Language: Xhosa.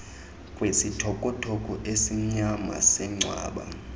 kwisithokothoko esimnyama sengcwaba